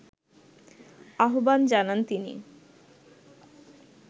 আহ্বান জানান তিনি